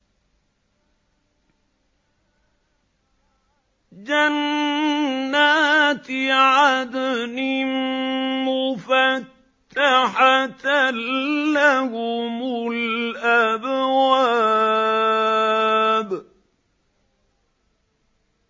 جَنَّاتِ عَدْنٍ مُّفَتَّحَةً لَّهُمُ الْأَبْوَابُ